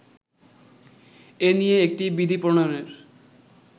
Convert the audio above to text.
এ নিয়ে একটি বিধি প্রণয়নের